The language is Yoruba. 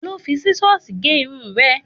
Ta ló fi Sísọ́sìì gé irun rẹ?